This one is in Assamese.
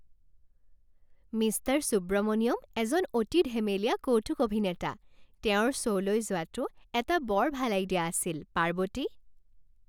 মিষ্টাৰ সুব্ৰমনিয়ন এজন অতি ধেমেলীয়া কৌতুক অভিনেতা। তেওঁৰ শ্ব'লৈ যোৱাটো এটা বৰ ভাল আইডিয়া আছিল, পাৰ্বতী।